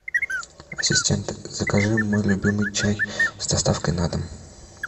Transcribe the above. ассистент закажи мой любимый чай с доставкой на дом